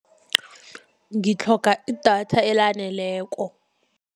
Ngitlhoga idatha elaneleko.